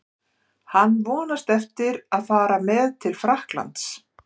Hann vonast eftir að fara með til Frakklands.